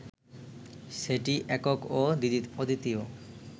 সেটি একক ও অদ্বিতীয়